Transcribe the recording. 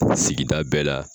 sigida bɛɛ la